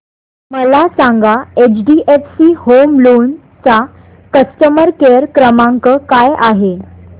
मला सांगा HDFC home loan चा कस्टमर केअर क्रमांक काय आहे